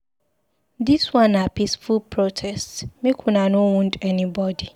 Dis one na peaceful protest, make una no wound anybodi.